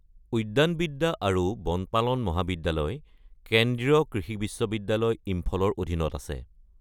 উদ্যানবিদ্যা আৰু বনপালন মহাবিদ্যালয় কেন্দ্ৰীয় কৃষি বিশ্ববিদ্যালয়, ইম্ফলৰ অধীনত আছে।